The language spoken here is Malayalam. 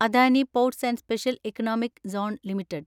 Adani ports and special economic zone limited